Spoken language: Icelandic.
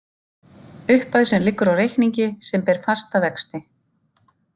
Upphæð sem liggur á reikningi sem ber fasta vexti.